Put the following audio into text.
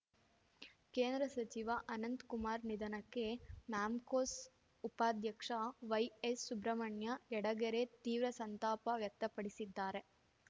ಕೇಂದ್ರ ಸಚಿವ ಅನಂತ್‌ಕುಮಾರ್‌ ನಿಧನಕ್ಕೆ ಮ್ಯಾಮ್ಕೋಸ್‌ ಉಪಾಧ್ಯಕ್ಷ ವೈಎಸ್‌ ಸುಬ್ರಹ್ಮಣ್ಯ ಯಡಗೆರೆ ತೀವ್ರ ಸಂತಾಪ ವ್ಯಕ್ತಪಡಿಸಿದ್ದಾರೆ